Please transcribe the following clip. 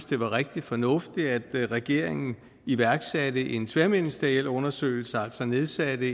det var rigtig fornuftigt at regeringen iværksatte en tværministeriel undersøgelse altså nedsatte